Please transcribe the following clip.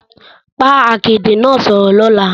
Bá akéde náà sọ̀rọ̀ lọ́la